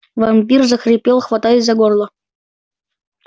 вампир захрипел хватаясь за горло